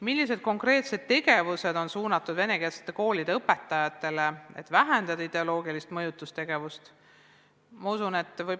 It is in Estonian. Millised konkreetsed tegevused on suunatud venekeelsete koolide õpetajatele, et vähendada ideoloogilist mõjutustegevust?